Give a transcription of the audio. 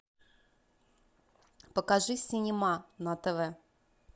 покажи синема на тв